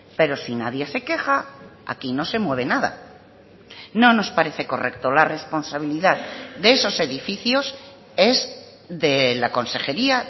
pero si nadie se queja aquí no se mueve nada no nos parece correcto la responsabilidad de esos edificios es de la consejería